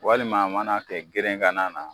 Walima mana kɛ gerenkan na na